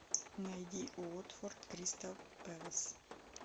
найди уотфорд кристал пэлас